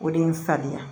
O de ye n saliya